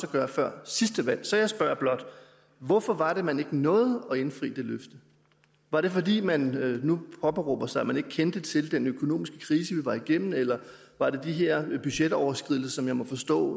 at gøre før sidste valg så jeg spørger blot hvorfor var det at man ikke nåede at indfri det løfte var det fordi som man nu påberåber sig man ikke kendte til den økonomiske krise vi var igennem eller var det de her budgetoverskridelser som jeg må forstå